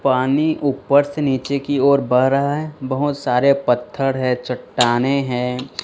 पानी ऊपर से नीचे की ओर बह रहा है बहोत सारे पत्थर हैं चट्टानें हैं।